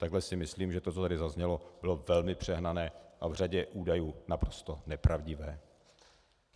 Takhle si myslím, že to, co tady zaznělo, bylo velmi přehnané a v řadě údajů naprosto nepravdivé.